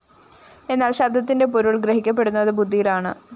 എന്നാല്‍ ശബ്ദത്തിന്റെ പൊരുള്‍ ഗ്രഹിക്കപ്പെടുന്നത് ബുദ്ധിയിലാണ്